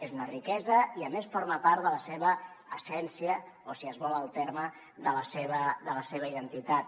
és una riquesa i a més forma part de la seva essència o si es vol el terme de la seva identitat